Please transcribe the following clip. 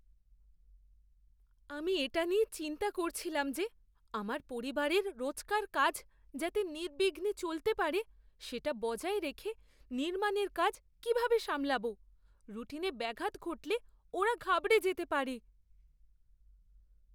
আমি এটা নিয়ে চিন্তা করছিলাম যে আমার পরিবারের রোজকার কাজ যাতে নির্বিঘ্নে চলতে পারে সেটা বজায় রেখে নির্মাণের কাজ কীভাবে সামলাব। রুটিনে ব্যাঘাত ঘটলে ওরা ঘাবড়ে যেতে পারে।